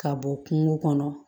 Ka bɔ kungo kɔnɔ